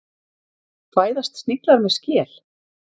Fæðast sniglar með skel?